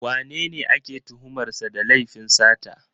Wanene ake tuhumar sa da laifin sata?